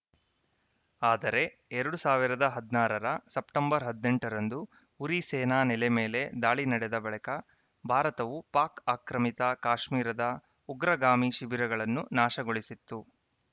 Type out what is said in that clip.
ಆದರೆ ಎರಡ್ ಸಾವಿರದ ಹದಿನಾರರ ಸೆಪ್ಟೆಂಬರ್‌ ಹದಿನೆಂಟರಂದು ಉರಿ ಸೇನಾ ನೆಲೆ ಮೇಲೆ ದಾಳಿ ನಡೆದ ಬಳಿಕ ಭಾರತವು ಪಾಕ್‌ ಆಕ್ರಮಿತ ಕಾಶ್ಮೀರದ ಉಗ್ರಗಾಮಿ ಶಿಬಿರಗಳನ್ನು ನಾಶಗೊಳಿಸಿತ್ತು